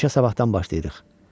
İşə sabahdan başlayırıq.